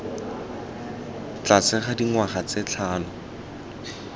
tlase ga dingwaga tse tlhano